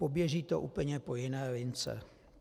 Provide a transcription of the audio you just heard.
Poběží to úplně po jiné lince.